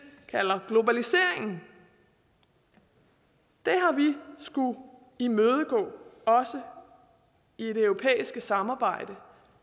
kalder globaliseringen det har vi skullet imødegå også i det europæiske samarbejde